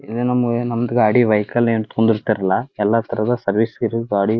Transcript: ಇದು ನಮ್ ಏನ್ ನಮ್ದ್ ಗಾಡಿ ವೆಹಿಕಲ್ ಹಿಂದೆ ಕುತ್ಕೊಂಡಿರ್ತಾರಲ್ಲಾ ಎಲ್ಲಾ ತರಹದ ಸಜೆಸ್ಟ್ ಇರು ಗಾಡಿ--